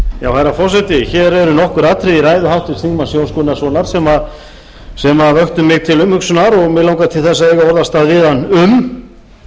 herra forseti hér eru nokkur atriði í ræðu háttvirts þingmanns jóns gunnarssonar sem vöktu mig til umhugsunar og mig langar til að eiga orðastað við hann um